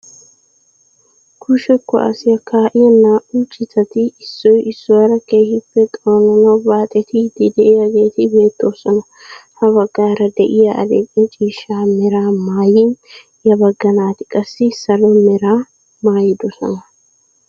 Kushe kuwaasiyaa kaa"iyaa naa"u citati issoy issuwaara keehippe xoonanawu baaxettiidi de'iyaageti beettoosona. ha baggaara de'iyaa adil'e ciishsha meraa maayin ya bagga naati qassi salo meraa maayidosona.